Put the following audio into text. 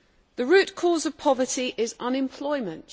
The root cause of poverty is unemployment.